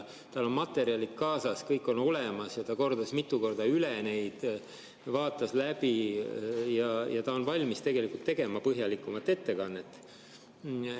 Tal on materjalid kaasas, kõik on olemas, ta vaatas neid mitu korda läbi ja ta on valmis tegema põhjalikumat ettekannet.